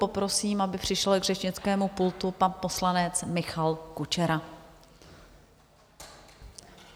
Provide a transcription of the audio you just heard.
Poprosím, aby přišel k řečnickému pultu pan poslanec Michal Kučera.